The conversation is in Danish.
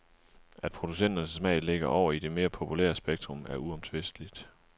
At producenternes smag ligger over i det mere populære spektrum er uomtvisteligt.